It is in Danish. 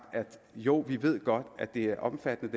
jo vi ved godt at det her er omfattende